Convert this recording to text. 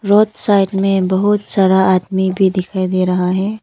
Side में बहुत सारा आदमी भी दिखाई दे रहा है।